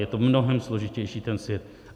Je to mnohem složitější, ten svět.